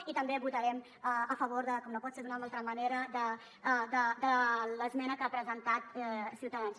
i també votarem a favor com no pot ser d’una altra manera de l’esmena que ha presentat ciutadans